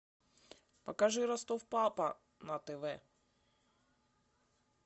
покажи ростов папа на тв